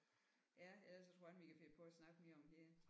Ja ellers så tror jeg ikke vi kan finde på at snakke mere om hende